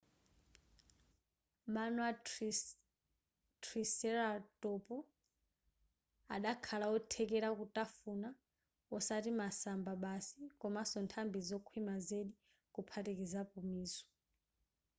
mano a triceratop adakakhala othekera kutafuna osati masamba basi komanso nthambi zokhwima zedi kuphatikizapo mizu